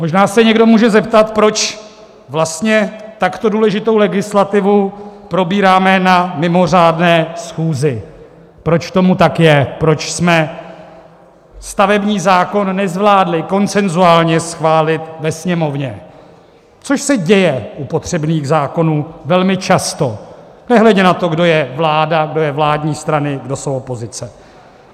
Možná se někdo může zeptat, proč vlastně takto důležitou legislativu probíráme na mimořádné schůzi, proč tomu tak je, proč jsme stavební zákon nezvládli konsenzuálně schválit ve Sněmovně, což se děje u potřebných zákonů velmi často, nehledě na to, kdo je vláda, kdo jsou vládní strany, kdo jsou opozice.